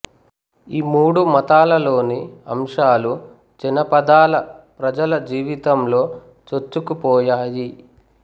ఈ మూడు మతాలలోని అంశాలు జనపదాల ప్రజాల జీవితంలో చొచ్చుకుపోయాయి